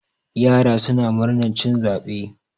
yara suna murnar cin zaɓe